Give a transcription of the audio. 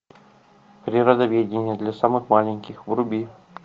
природоведение для самых маленьких вруби